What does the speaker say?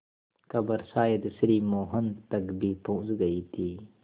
खबर शायद श्री मोहन तक भी पहुँच गई थी